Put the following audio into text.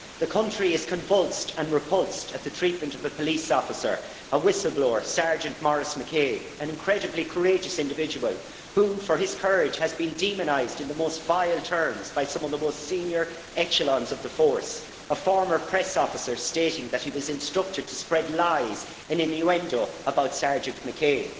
The country is convulsed and repulsed at the treatment of a police officer, a whistle blower, Sergeant Maurice McCabe, an incredibly courageous individual who for his courage has been demonised in the most vile terms by some of the most senior echelons of the force, with a former press officer stating that he was instructed to spread lies and innuendo about Sergeant McCabe.